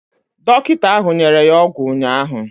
Dọkịta ahụ nyere ya ọgwụ ụnyaahụ.